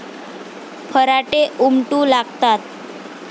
फराटे उमटू लागतात.